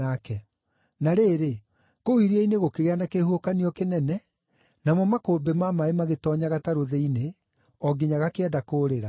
Na rĩrĩ, kũu iria-inĩ gũkĩgĩa na kĩhuhũkanio kĩnene, namo makũmbĩ ma maaĩ magĩtoonya gatarũ thĩinĩ, o nginya gakĩenda kũũrĩra.